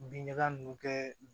Bin ɲaga nunnu kɛ